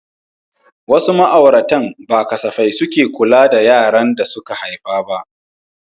Wasu ma'auratan ba safai suke kula da yaran da suka haifa ba.